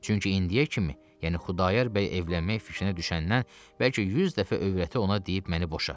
Çünki indiyə kimi, yəni Xudayar bəy evlənmək fikrinə düşəndən bəlkə 100 dəfə övrəti ona deyib məni boşa.